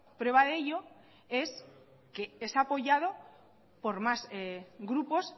prueba de ello es que es apoyado por más grupos